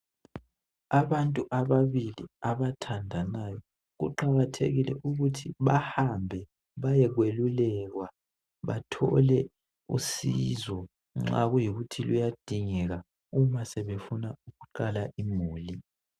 Abantu ababili abathandanayo kuqakathekile ukuthi bahambe bayokwelulekwa bathole usizo nxa kuyikuthi luyadingeka uma sebefuna ukuqala imuli.